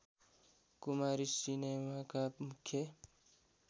कुमारी सिनेमाका मुख्य